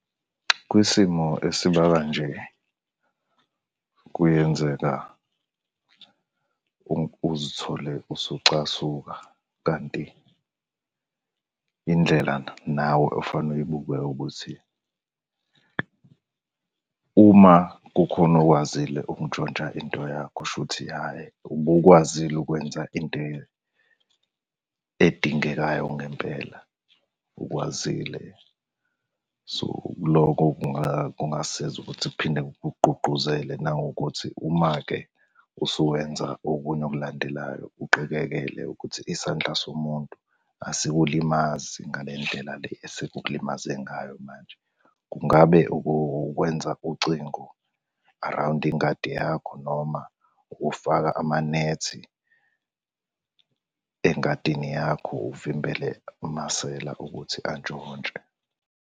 Kwisimo esiba kanje, kuyenzeka uzithole usucasuka, kanti indlela nawe okufanele uyibuke ukuthi, uma kukhona okwazile ukuntshontsha into yakho shuthi hhayi, ubukwazile ukwenza into edingekayo ngempela, ukwazile. So, loko kungasiza ukuthi kuphinde kukugqugquzele nangokuthi uma-ke usuwenza okunye okulandelayo uqikekele ukuthi isandla somuntu asikulimazi ngale ndlela le esekukulimaze ngayo manje. Kungabe ukukwenza ucingo around ingadi yakho noma ufaka amanethi engadini yakho, uvimbele amasela ukuthi antshontshe.